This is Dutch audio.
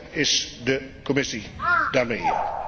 Hoe ver is de Commissie daarmee?